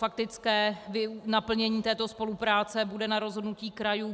Faktické naplnění této spolupráce bude na rozhodnutí krajů.